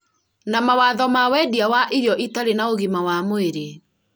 na mawatho ma wendia wa irio itarĩ na ũgima wa mwĩrĩ